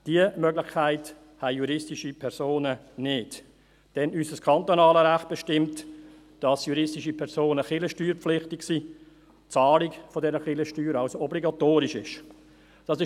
Diese Möglichkeit haben juristische Personen nicht, denn unser kantonales Recht bestimmt, dass juristische Personen kirchensteuerpflichtig sind und die Zahlung dieser Kirchensteuer somit obligatorisch ist.